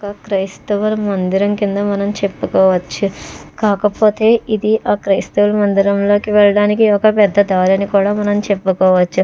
క్రైస్తవుల మందిరం కింద మనం చెప్పుకోవచ్చు కాకపోతే ఇది ఆ క్రైస్తవుల మందిరంలోకి వెళ్లడానికి ఒక పెద్ద దారాని కూడా మనం చెప్పుకోవచ్చు.